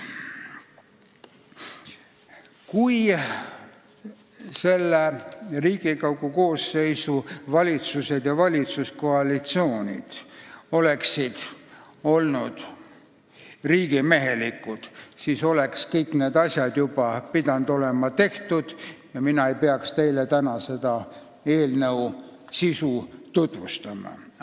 Kui selle Riigikogu koosseisu ajal tegutsenud valitsused ja valitsuskoalitsioonid oleksid olnud riigimehelikud, siis oleksid kõik need asjad pidanud olema juba tehtud ja mina ei peaks teile täna seda eelnõu tutvustama.